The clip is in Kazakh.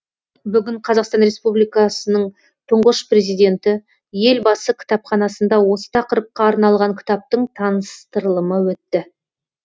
бүгін қазақстан республикасының тұңғыш президенті елбасы кітапханасында осы тақырыпқа арналған кітаптың таныстырылымы өтті